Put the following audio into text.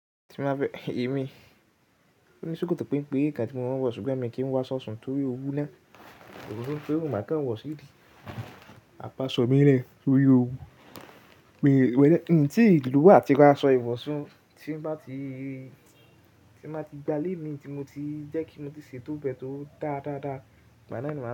Tí má fẹ́, èmi, ò ní ṣòkòtò pénpé ń kà tí mo máa wọ̀, ṣùgbọ́n mi kì í wa sọṣun torí òru náà, sokoto kekere òun máa kàn wọ̀ sí ìdí, àpàaṣọ mí rẹ̀ torí òru. Mi mode in tí lowo ati ra asọ iwoṣún, tí má ti gba lé mi, tí mo ti jẹ́ kí mo ti ṣe tóbẹ́ tó dáadáa, màmá ná máa.